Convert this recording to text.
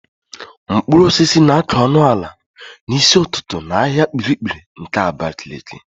Mkpụrụosisi na-àká ọnụ ala n'isi ụtụtụ n'ahịa Kpiri-kpiri nke Abakaliki.